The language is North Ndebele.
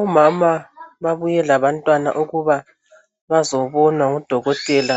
Omama babuye labantwana ukuba bazobonwa ngudokotela